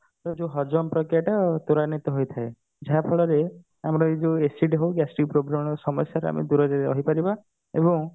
ଯୋଉ ହଜମ ପ୍ରକୀୟାଟା ତ୍ୱରାନ୍ୱିତ ହୋଇଥାଏ ଯାହା ଫଳରେ ଆମ ଏ ଯୋଉ acidity ହଉ gastric problem ସମସ୍ୟାରୁ ଆମେ ଦୂରରେ ରହିପାରିବା ଏବଂ